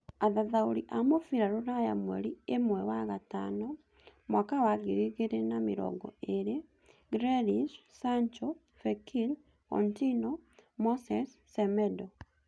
Athathaũri a mũbira rũraya mweri ĩmwe wa-gatano Mwaka wa ngiri igĩrĩ na mĩrongo ĩĩrĩ; Grealish, Sancho, Fekir, Coutinho, Moses, Semedo